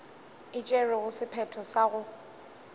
e tšerego sephetho sa go